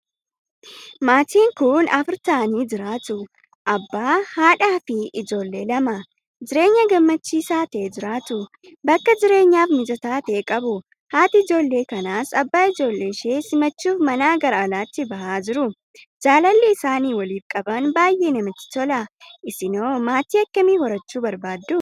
Maatiin kun Afur ta'anii jiraatu. abbaa, haadhaafi ijoollee Lama. Jireenya gammachiisaa ta'e jiraatu. Bakka jireenyaaf mijataa ta'e qabu. Haati ijoollee kanaas abbaa ijoollee ishee simachuuf manaa gara alaatti bahanii jiru. Jaalalli isaan waliif qaban baay'ee namatti tola. Isinoo maatii akkamii horachuu barbaaddu?